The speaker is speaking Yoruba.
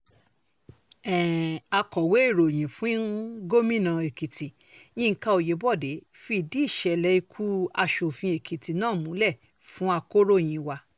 um akọ̀wé ìròyìn fún gómìnà èkìtì yinka oyebode fìdí ìṣẹ̀lẹ̀ ikú um asòfin ekìtì náà múlẹ̀ fún akòròyìn wa